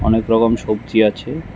অনেক রকম সবজি আছে।